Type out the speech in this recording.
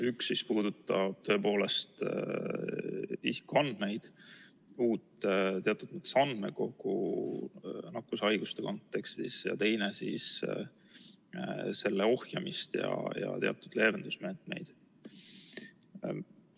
Üks puudutab isikuandmeid, uut teatud mõttes andmekogu nakkushaiguste kontekstis ning teine siis selle ohjamist ja teatud leevendusmeetmeid.